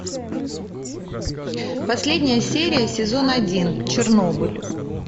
последняя серия сезон один чернобыль